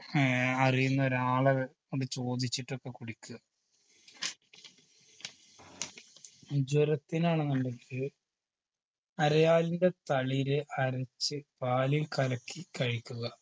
ഏർ അറിയുന്ന ഒരാള് കൊണ്ട് ചോദിച്ചിട്ടൊക്കെ കുടിക്കുക ജ്വരത്തിനാണെന്നുണ്ടെങ്കില് അരയാലിൻറെ തളിര് അരച്ച് പാലിൽ കലക്കി കഴിക്കുക